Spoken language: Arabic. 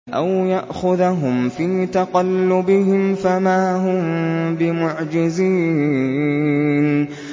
أَوْ يَأْخُذَهُمْ فِي تَقَلُّبِهِمْ فَمَا هُم بِمُعْجِزِينَ